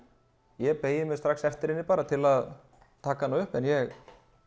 ég beygi mig strax eftir henni til að taka hana upp en ég